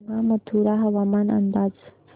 सांगा मथुरा हवामान अंदाज